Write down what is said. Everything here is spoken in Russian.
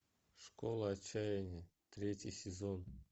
школа отчаяния третий сезон